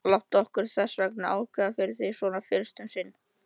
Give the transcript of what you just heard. Láttu okkur þessvegna ákveða fyrir þig, svona fyrst um sinn.